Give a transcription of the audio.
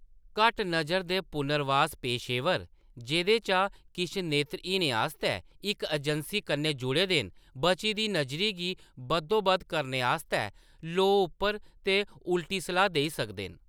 घट्ट नज़र दे पुनर्वास पेशेवर, जेह्‌दे चा किश नेत्रहीनें आस्तै इक एजैंसी कन्नै जुड़े दे न, बची दी नज़री गी बद्धोबद्ध करने आस्तै लोऽ उप्पर ते उलटी सलाह्‌‌ देई सकदे न।